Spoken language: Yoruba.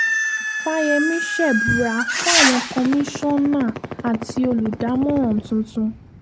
fàyẹ̀mí ṣẹ̀bùrà fáwọn kọmíṣánná àti olùdámọ̀ràn tuntun